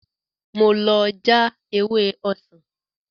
Mo lọ já ewé ọsàn